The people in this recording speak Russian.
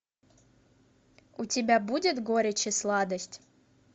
у тебя будет горечь и сладость